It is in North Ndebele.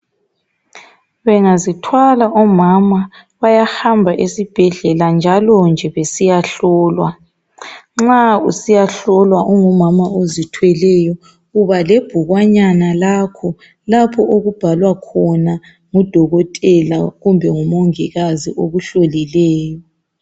Bengazithwala omama bayahamba esibhedlela njalonje besiya hlolwa Nxa usiya hlolwa ungumama ozithweleyo uba lebhukwanyana lakho lapho okubhalwa khona ngudokotela kumbe ngumongikazi okuhlolileyo .